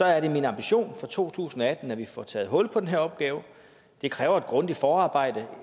er det min ambition for to tusind og atten at vi får taget hul på den her opgave det kræver et grundigt forarbejde